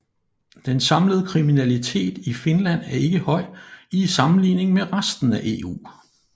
Den samlede kriminalitet i Finland er ikke høj i sammenligning med resten af EU